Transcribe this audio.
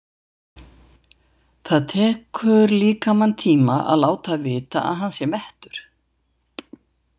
Það tekur líkamann tíma að láta vita að hann sé mettur.